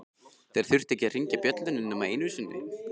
Þeir þurftu ekki að hringja bjöllunni nema einu sinni.